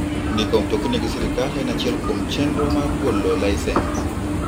Ndiko mtokni gi sirkal en achiel kuom chenro mag golo lisens.